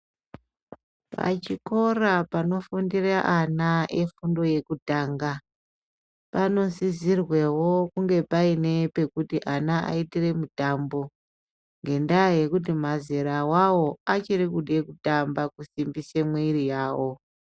Pachikora anofundira ana efundo yekutanga panosisirwewo kunge paine pekuti ana aitire mutambo ngendaya yekuti mazera awawo achirikude kutamba kusimbise mwiri yawo.